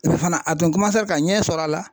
Fana a tun ka ɲɛ sɔrɔ a la